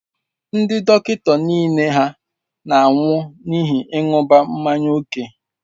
Ndị dọkịta niile hà na-anwụ n'ihi ịṅụbiga mmanya ókè?